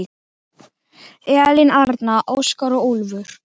Elín Arna, Óskar og Úlfur.